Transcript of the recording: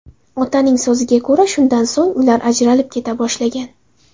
Otaning so‘ziga ko‘ra, shundan so‘ng, ular ajralib keta boshlagan.